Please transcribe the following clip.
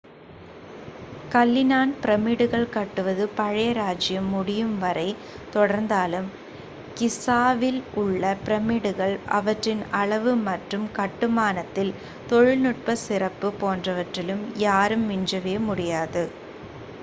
கல்லினால் பிரமிடுகள் கட்டுவது பழைய ராஜ்ஜியம் முடியும் வரைத் தொடர்ந்தாலும் கிஸாவில் உள்ள பிரமிடுகள் அவற்றின் அளவு மற்றும் கட்டுமானத்தின் தொழில்நுட்பச் சிறப்பு போன்றவற்றில் யாரும் விஞ்சவே இல்லை